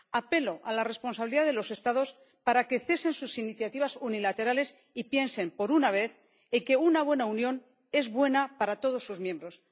Apelo a la responsabilidad de los Estados para que cesen sus iniciativas unilaterales y piensen, por una vez, en que una buena unión es buena para todos sus miembros.